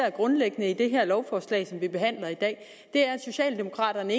er grundlæggende i det her lovforslag som vi behandler i dag socialdemokraterne